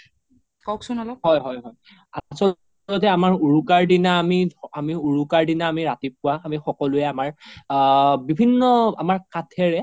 কওকচোন অলপ হয় হয় আচলতে উৰুকাৰ দিনা আমি, আমি উৰুকাৰ দিনা আমি ৰাতিপুৱা আমি সকলোৱে আমাৰ বিভিন্ন আমাৰ কাঠেৰে